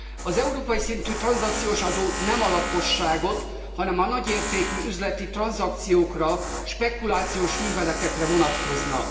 Az európai szintű tranzakciós adó nem a lakosságra, hanem a nagy értékű üzleti tranzakciókra, spekulációs műveletekre vonatkozna.